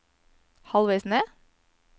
halvveis ned